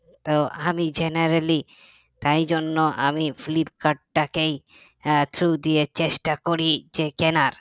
তো আমি generally তাই জন্য আমি ফ্লিপকার্টটাকেই আহ through দিয়েই চেষ্টা করি যে কেনার